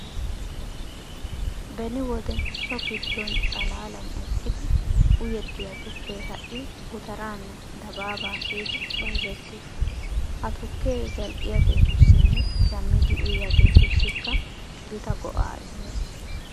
Beni wode so giddon xalaalan eqqidi uyettiya tukkee ha"i gutaraanne dabaabaa kiyidi bayzettees. Ha tukkee zal"iyageetussinne shammidi uyiyageetussikka gita go"aa immees.